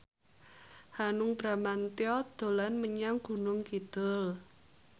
Hanung Bramantyo dolan menyang Gunung Kidul